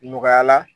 Nɔgɔya la